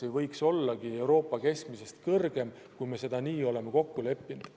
Meie näitajad võiks Euroopa keskmistest veel kõrgemad olla, kui me nii oleme kokku leppinud.